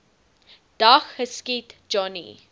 dag geskiet johnny